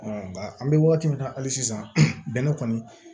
nka an bɛ wagati min na hali sisan bɛnɛ kɔni